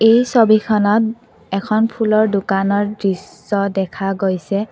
এই ছবিখনত এখন ফুলৰ দোকানৰ দৃশ্য দেখা গৈছে।